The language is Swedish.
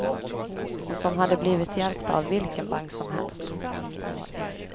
Och som hade blivit hjälpta av vilken bank som helst.